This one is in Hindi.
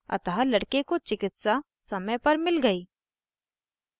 अतः लड़के को चिकित्सा समय पर मिल गयी